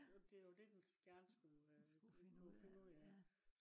og det jo det den gerne skulle øh kunne finde ud af